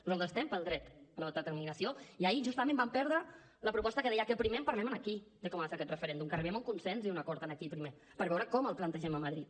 nosaltres estem pel dret a l’autodeterminació i ahir justament vam perdre la proposta que deia que primer en parlem aquí de com ha de ser aquest referèndum que arribem a un consens i a un acord aquí primer per veure com el plantegem a madrid